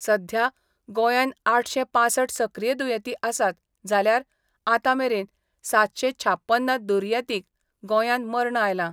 सध्या गोंयान आठशे पांसठ सक्रिय दुयेंती आसात जाल्यार आतामेरेन सातशे छापन्न दुर्येतींक गोंयान मर्ण आयला.